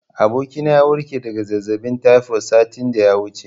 Abokina ya warke daga zazzaɓin taifod satin da ya wuce.